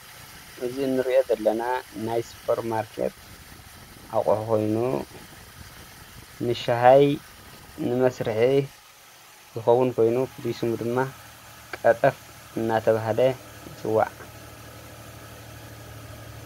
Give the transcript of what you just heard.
እዙይ እንሪእዮ ዘለና ናይ ስፖር ማርኬት ኣቅሑ ኮይኑ ንሻሂ ንመስርሒ ዝከውን ኮይኑ ፍሉይ ሽሙ ድማ ቀጠፍ እናተባህለ ይፅዋዕ።